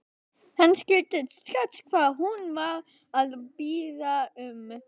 Hann skildi strax hvað hún var að biðja um.